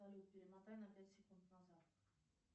салют перемотай на пять секунд назад